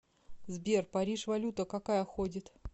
сбер париж валюта какая ходит